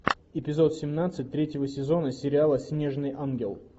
эпизод семнадцать третьего сезона сериала снежный ангел